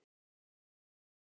Við pössum mömmu.